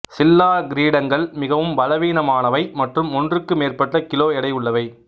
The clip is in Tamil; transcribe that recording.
சில்லா கிரீடங்கள் மிகவும் பலவீனமானவை மற்றும் ஒன்றுக்கு மேற்பட்ட கிலோ எடையுள்ளவை